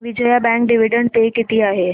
Vijaya bank dividend pay किती आहे